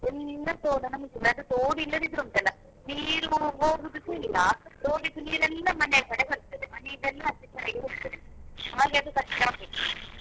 ಎಲ್ಲಾ ತೋಡನ್ನು ಮುಚ್ಚಿದ್ದಾರೆ. ತೋಡ್ ಇಲ್ಲದಿದ್ರೆ ಉಂಟಲ್ಲ ನೀರು ಹೋಗುದುಸ ಇಲ್ಲ, ತೋಡಿದ್ದು ನೀರೆಲ್ಲ ಮನೆಯ ಕಡೆ ಬರ್ತದೆ ಮನೆಯದೆಲ್ಲಾ ಆಚೆ ಈಚೆ ಆಗಿ ಹೋಗ್ತದೆ ಹಾಗೆ ಅದು ಕಷ್ಟ ಆಗುದು.